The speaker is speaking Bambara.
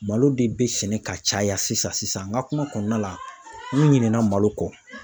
Malo de bɛ sɛnɛ ka caya sisan sisan, n ka kuma kɔnɔna la, n ɲinɛ na malo kɔ.